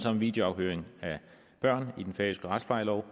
om videoafhøring af børn i den færøske retsplejelov